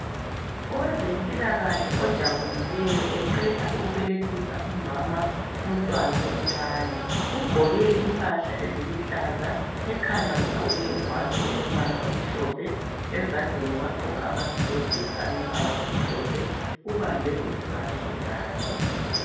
Owezempilakahle ojabulileyo eqeda ukubelethisa umama umntwana omncani ugqoke impahla eziluhlaza ekhanda ugqoke ingwane elombala omhlophe, ezandleni wagqoka amagilovisi alombala omhlophe ubambe umntwana ingwalo.